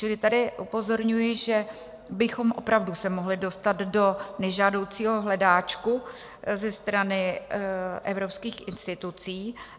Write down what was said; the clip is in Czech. Čili tady upozorňuji, že bychom opravdu se mohli dostat do nežádoucího hledáčku ze strany evropských institucí.